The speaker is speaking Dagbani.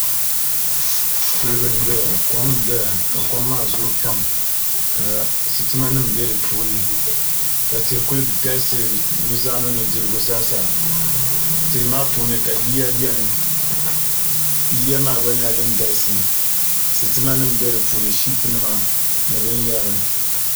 Kuliga n doya kom n doya ka kom maa zooi pam ka sitima nim bɛ di puuni ka tihi ku galisi nuzaa ni nudirigu zaa sa tihi maa puuni ka yiya biɛni yiya maa gba nyɛla din galisi sitima nim bɛ di puuni shiip nima ni binyɛra